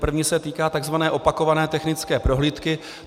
První se týká tzv. opakované technické prohlídky.